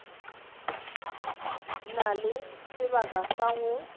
na le sebaka sa go